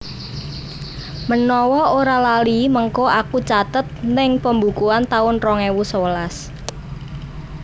Menawa ora lali mengko aku catet ning pembukuan taun rong ewu sewelas